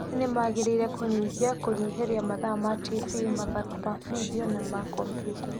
Aciaria nĩ magĩrĩire kũnyihia kũnyĩhĩria mathaa ma tibi, mathako ma bidio na ma kompyuta.